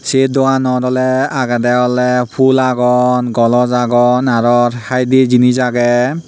sei doganot oley agedey oley fhul agon gloj agon aro haidey jinis agey.